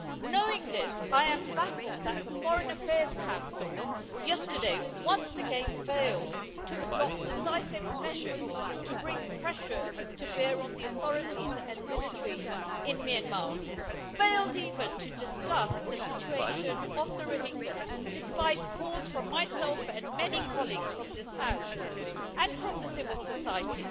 Knowing this, I am baffled that the Foreign Affairs Council yesterday once again failed to adopt decisive measures to bring pressure to bear on the authorities and military in Myanmar failed even to discuss the situation of the Rohingya, despite calls from me and many colleagues from this House and from civil society.